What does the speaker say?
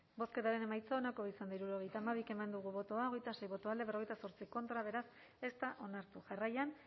bozketaren emaitza onako izan da hirurogeita hamabi eman dugu bozka hogeita sei boto alde cuarenta y ocho contra beraz ez da onartu jarraian